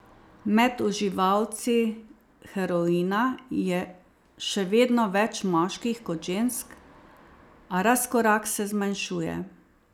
Med uživalci heroina je še vedno več moških kot žensk, a razkorak se zmanjšuje.